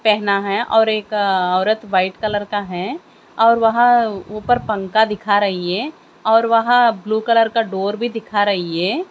पहना हैं और एक औरत व्हाइट कलर का हैं और वहाँ ऊपर पंखा दिखा रहीं हैं और वहाँ ब्लू कलर का डोर भीं दिखा रहीं हैं।